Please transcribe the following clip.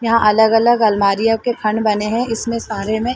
यहाँ अलग-अलग आलमारियाँ के खंड बने है इसमें सारे में--